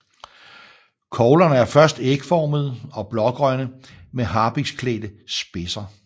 Koglerne er først ægformede og blågrønne med harpiksklædte spidser